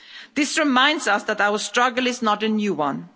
This reminds us that our struggle is not a new